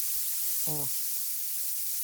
о